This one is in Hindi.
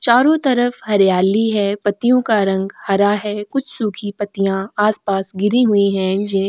चारों तरफ हरियाली है पत्तियों का रंग हरा है कुछ सूखी पत्तियां आसपास गिरी हुई हैं।